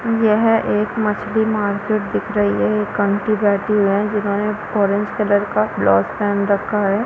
यह एक मछली मार्किट दिख रही है ये आंटी बैठी हैं जिन्होंने ऑरेंज कलर का ब्लाउज पहना है।